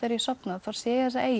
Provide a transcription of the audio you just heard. sofna þá sé ég þessa eyju